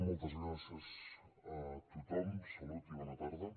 moltes gràcies a tothom salut i bona tarda